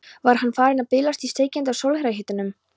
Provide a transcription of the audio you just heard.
Var hann farinn að bilast í steikjandi sólarhitanum?